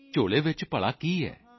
ਝੋਲੇ ਚ ਭਲਾ ਕੀ ਹੈ